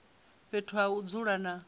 fhethu ha u dzula na